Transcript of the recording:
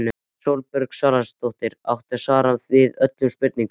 Sólborg Salvarsdóttir átti svar við öllum spurningum.